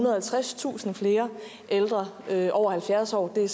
og halvtredstusind flere ældre over halvfjerds år det